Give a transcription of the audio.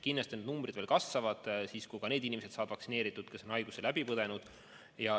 Kindlasti need numbrid kasvavad siis, kui ka need inimesed saavad vaktsineeritud, kes on haiguse läbi põdenud.